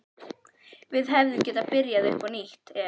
Við hefðum getað byrjað upp á nýtt ef